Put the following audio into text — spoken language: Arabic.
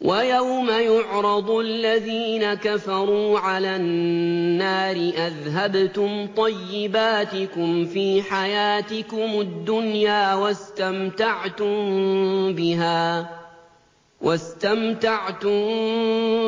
وَيَوْمَ يُعْرَضُ الَّذِينَ كَفَرُوا عَلَى النَّارِ أَذْهَبْتُمْ طَيِّبَاتِكُمْ فِي حَيَاتِكُمُ الدُّنْيَا وَاسْتَمْتَعْتُم